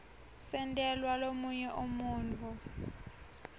sentelwa lomunye umuntfu